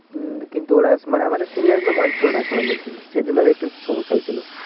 উম কিন্তু আমাদের senior গুলো মানছিলোনা খেলানোর জন্য সেই জন্য একটু সমস্যা হয়েছিল